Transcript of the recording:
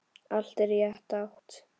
Allt í rétta átt.